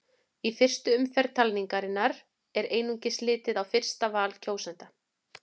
Í fyrstu umferð talningarinnar er einungis litið á fyrsta val kjósenda.